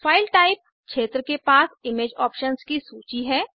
file type क्षेत्र के पास इमेज ऑप्शन्स की सूची है